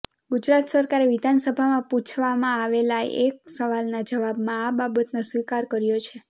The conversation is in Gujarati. ગુજરાત સરકારે વિધાનસભામાં પુછવામાં આવેલા એક સવાલના જવાબમાં આ બાબતનો સ્વીકાર કર્યો છે